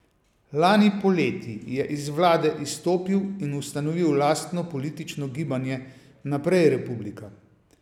Lani poleti je iz vlade izstopil in ustanovil lastno politično gibanje Naprej republika.